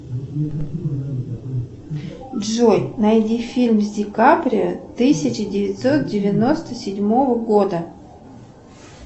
джой найди фильм с дикаприо тысяча девятьсот девяносто седьмого года